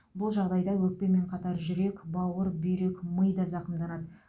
бұл жағдайда өкпемен қатар жүрек бауыр бүйрек ми да зақымданады